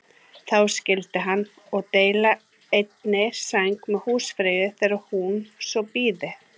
Þá skyldi hann og deila einni sæng með húsfreyju þegar hún svo byði.